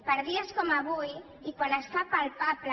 per dies com avui i quan es fa palpable